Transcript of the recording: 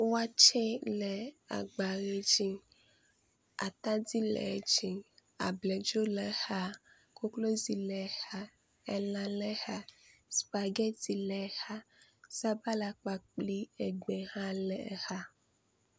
Watse le agba ʋe dzi, atadi le dzi, abladzo le exa, koklozi le exa, elã le exa, spageti le exa, sabala kpakple egbe hã le exa.